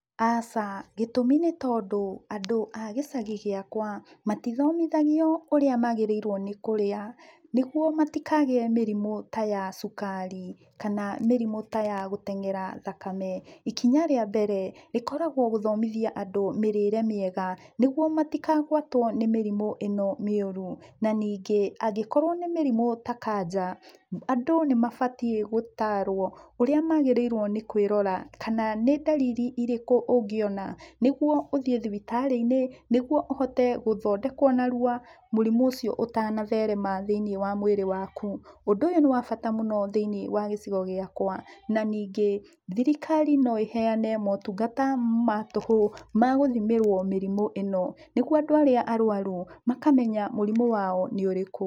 Aca, gĩtumi nĩ tondũ andũ a gĩcagi gĩakwa, matithomithagio ũrĩa magĩrĩirũo nĩ kũrĩa, nĩguo matikagĩe mĩrimũ ta ya cukari, kana mĩrimũ ta ya gũteng'era thakame. Ikinya rĩa mbere, rĩkoragũo gũthomithia andũ mĩrĩre mĩega, nĩguo matikagũatwo nĩ mĩrimũ ĩno mĩũru. Na ningĩ, angĩkorũo nĩ mĩrimũ ta kanja, andũ nĩmabatie gũtarũo, ũrĩa magĩrĩirũo nĩ kwĩrora, kana nĩ ndariri irĩkũ ũngĩona, nĩguo ũthiĩ thibitarĩ-inĩ, nĩguo ũhote gũthondekũo narua mũrimũ ũcio ũtanatherema thĩiniĩ wa mwĩrĩ waku. Ũndũ ũyũ nĩ wa bata mũno thĩiniĩ wa gĩcigo gĩakũa, na ningĩ, thirikari no ĩheane motungata matũhũ ma gũthimĩrũo mĩrimũ ĩno, nĩguo andũ arĩa arũaru, makamenya mũrimũ wao nĩũrĩkũ.